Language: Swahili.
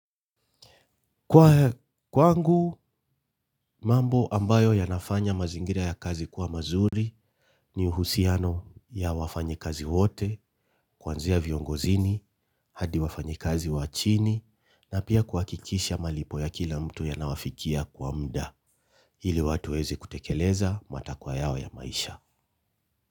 Kwa kwangu, mambo ambayo yanafanya mazingira ya kazi kuwa mazuri ni uhusiano ya wafanyi kazi wote, kwanzia viongozini, hadi wafanyi kazi wa chini, na pia kuhakikisha malipo ya kila mtu yanawafikia kwa mda, ili watu waeze kutekeleza matakwa yao ya maisha.